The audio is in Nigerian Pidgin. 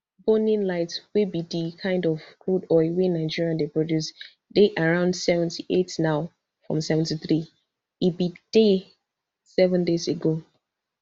bonny light wey be di kind of crude oil wey nigeria dey produce dey around seventy-eight now from seventy-three e bin dey seven days ago